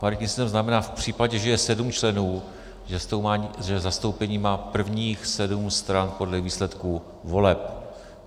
Paritní systém znamená v případě, že je sedm členů, že zastoupení má prvních sedm stran podle výsledků voleb.